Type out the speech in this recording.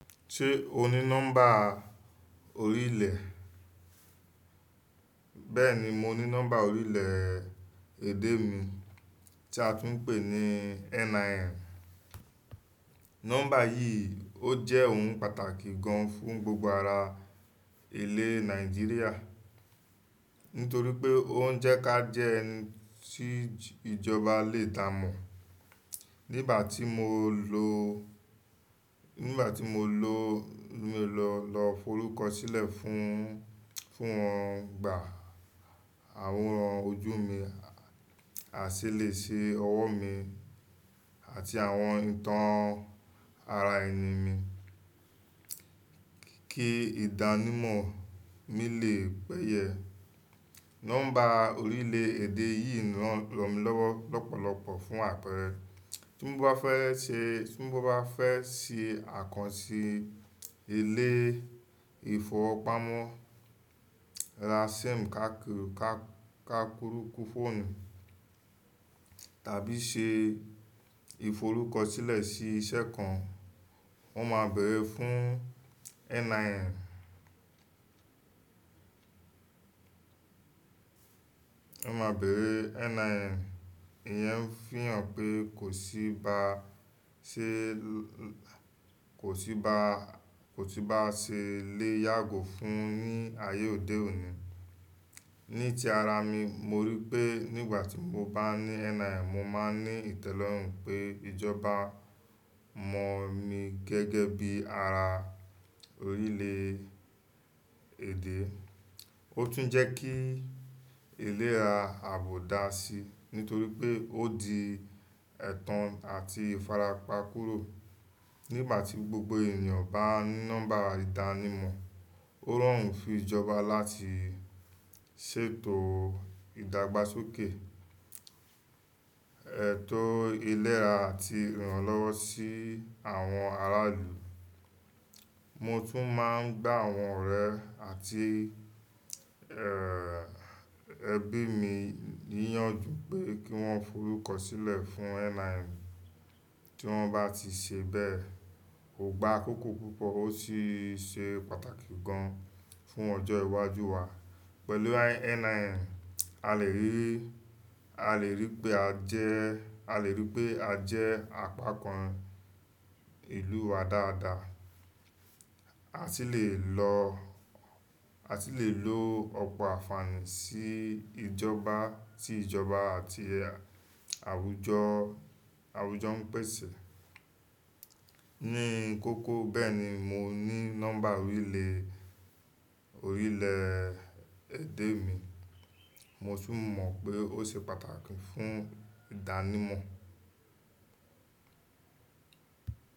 Ṣé o ní nọ́mbà orílẹ̀? Bẹ́ẹ̀ni mo ní nọ́mbà orílẹ̀ èdè mi tí a tún ń pè ní NIN. Nọ́mbà yìí ó jẹ́ ohun pàtàkì gan fún gbogbo ara ilẹ̀ Nàìjíríà, nítorí pé ó ń jẹ́ ká jẹ́ ẹni tí ìjọba lè dá mọ̀. Nígbà tí mo lọ, nígbà tí mo lọ, mo lọ, lọ forúkọ sílẹ̀ fún, fún wọn, gba àwòrán ojú mi, àṣẹ lè ṣe ọwọ́ mi àti àwọn ìtàn ara ẹni mi kí ìdánimọ̀ mi lè pẹ́ yẹ. Nọ́mbà orílẹ̀ èdè yìí ń ràn mí lọ́wọ́ lọ́pọ̀lọpọ̀ fún àpẹrẹ. Tí mo bá fẹ́ ṣe, tí mo bá fẹ́ ṣe àkànṣe ilé ìfọwọ́pamo, ra SIM káákiiri ká, káákiiri fóònù tàbí ṣe ìforúkọ sílẹ̀ sí iṣẹ́ kan, wọ́n máa bèrẹ̀ fún NIN. Wọ́n máa bèrẹ̀ NIN. Ìyẹn ń fihàn pé kò sí ba ṣe, kò sí bá, kò sí bá ṣe lé yàgò fún ní ayé òde òní. Ní tí ara mi, mo rí i pé nígbà tí mo bá ní NIN, mo máa ní ìtẹ́lọ́rùn pé ìjọba mọ̀ mí gẹ́gẹ́ bí ara orílẹ̀ èdè. Ó tún ń jẹ́ kí ìlera àbò dáa si, nítorí pé ó di ẹ̀tàn àti ìfarapa kúrò. Nígbà tí gbogbo ènìyàn bá ní nọ́mbà ìdánimọ̀, ó rọrùn fún ìjọba láti ṣètò ìdàgbàsókè, ẹ̀tò ìlera àti ìrànlọ́wọ́ sí àwọn ará ìlú. Mo tún máa ń gbá àwọn ọ̀rẹ́ àti, ẹbí mi níyànju pé kí wọ́n forúkọ sílẹ̀ fún NIN. Tí wọ́n bá ti ṣe bẹ́ẹ̀, kò gba akókó púpọ̀ ó sì ṣe pàtàkì gan fún ọjọ́ iwájú wa. Pẹ̀lú NIN, a lè rí, a lè rí pé a jẹ́, a lè rí pé a jẹ́ apá kan ìlú wa dáadáa. A sì lè lo, a sì lè lo ọ̀pọ̀ àfààní sí ìjọba tí ìjọba àti àwùjọ, àwùjọ ń pèsè. Ní kókó bẹ́ẹ̀ ni mo ní nọ́mbà orílẹ̀, orílẹ̀ èdè mi. Mo tún mọ̀ pé ó ṣe pàtàkì fún ìdánimọ̀.